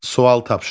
Sual tapşırıq.